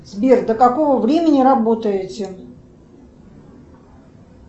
сбер до какого времени работаете